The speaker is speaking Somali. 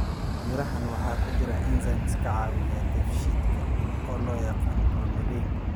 Mirahaan waxaa ku jira enzymes ka caawiya dheefshiidka oo loo yaqaan bromelain.